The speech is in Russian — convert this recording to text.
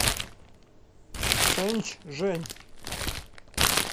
шэньчжэнь